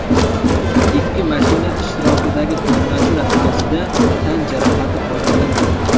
Ikki mashina ishtirokidagi to‘qnashuv natijasida tan jarohati olganlar yo‘q.